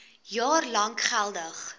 jaar lank geldig